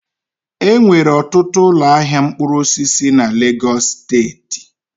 Enwere ọtụtụ ụlọ ahịa mkpụrụ osisi na Legos steeti